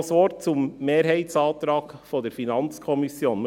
Noch ein Wort zum Mehrheitsantrag der FiKo.